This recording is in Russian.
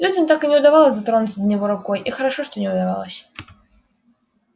людям так и не удавалось дотронуться до него рукой и хорошо что не удавалось